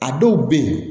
A dɔw bɛ yen